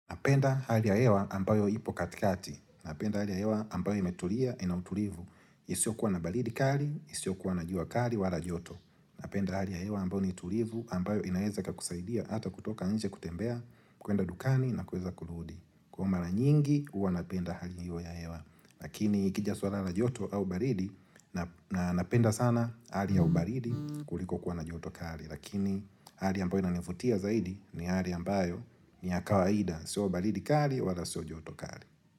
Napenda hali ya hewa ambayo ipo katikati. Napenda hali ya hewa ambayo imetulia ina utulivu. Isiokuwa na baridi kali, isiokuwa na jua kali wala joto. Napenda hali ya hewa ambayo ni tulivu ambayo inaeza kakusaidia ata kutoka nje kutembea, kuenda dukani na kuweza kurudi. Kwa mara nyingi, huwa napenda hali hio ya hewa. Lakini ikija swala la joto au baridi, na napenda sana hali ya ubaridi kuliko kuwa na joto kali. Lakini hali ambayo inanivutia zaidi ni hali ambayo ni ya kawaida. Sio baridi kali wala sio joto kali.